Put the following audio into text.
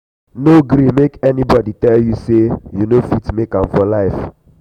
no gree make anybodi tell you sey you no fit make am for life.